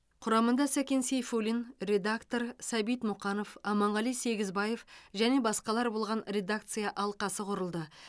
құрамында сәкен сейфуллин редактор сәбит мұқанов аманғали сегізбаев және басқалар болған редакция алқасы құрылды